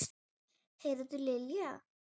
Heyrðu Lilli.